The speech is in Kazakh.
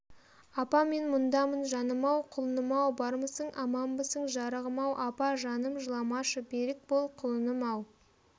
апа мен мұндамын жаным-ау құлыным-ау бармысың аманбысың жарығым-ау апа жаным жыламашы берік бол құлыным-ау